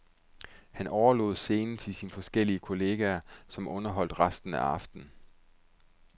Han overlod scenen til sine forskellige kolleger, som underholdt resten af aftenen.